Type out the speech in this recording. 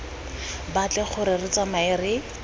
batle gore re tsamae re